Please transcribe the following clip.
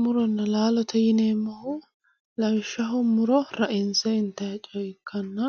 muronna laalote yineemmohu lawishshaho muro rainse intanni coye ikkanna